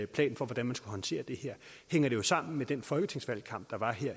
plan for hvordan man skal håndtere det her hænger det sammen med den folketingsvalgkamp der var i